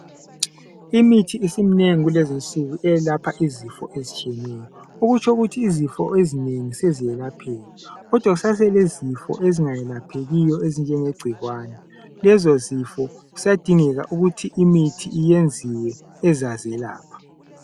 Imithi isiminengi kulezinsuku eyelapha izifo ezitshiyeneyo okutsho ukuthi izifo ezinengi seziyelapheka kodwa kusase lezifo ezingayelaphekiyo ezinjenge gcikwane lezo zifo kuyadingeka ukuthi imithi iyenziwe ezazelapha.